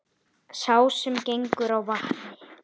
Sá sem gengur á vatni